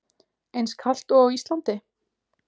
Eins kalt og á Íslandi?